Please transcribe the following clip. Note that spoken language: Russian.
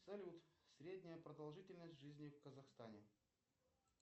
салют средняя продолжительность жизни в казахстане